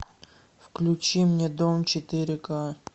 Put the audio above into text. включи мне дом четыре ка